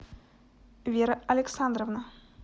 вера александровна